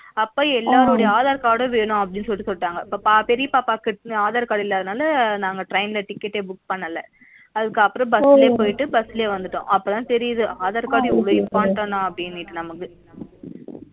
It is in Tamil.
அப்ப எல்லாரோடுடைய aadhar card வேணும் அப்டினு சொல்லிட்டு சொல்லிட்டாங்க பெரியாப்பா pocket ல aadhar card இல்ல அதுனால நாங்க train ல ticket book பண்ணல அதுக்கப்றம் bus லபோய்ட்டு bus லயே வந்துட்டோம்